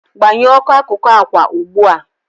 Gbanyoụ oku akụkụ akwa ugbu a!